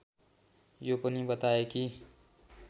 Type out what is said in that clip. यो पनि बताए कि